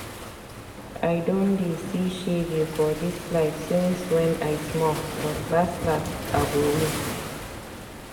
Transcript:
I don dey see shege for dis life since wen I small but las las, I go win.